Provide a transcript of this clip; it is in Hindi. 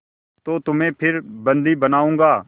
तो तुम्हें फिर बंदी बनाऊँगा